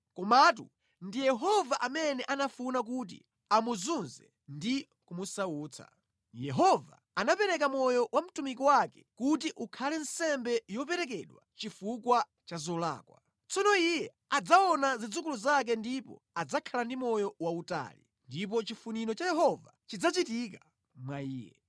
Komatu ndi Yehova amene anafuna kuti amuzunze ndi kumusautsa. Yehova anapereka moyo wa mtumiki wake kuti ukhale nsembe yoperekedwa chifukwa cha zolakwa. Tsono iye adzaona zidzukulu zake ndipo adzakhala ndi moyo wautali, ndipo chifuniro cha Yehova chidzachitika mwa iye.